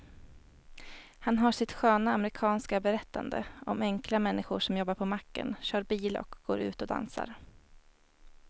Han har sitt sköna amerikanska berättande om enkla människor som jobbar på macken, kör bil och går ut och dansar.